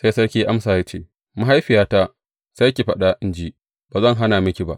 Sai sarki ya amsa ya ce, Mahaifiyata, sai ki faɗa in ji, ba zan hana miki ba.